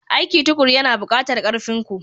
Aiki tukuru yana buƙatar ƙarfin ku.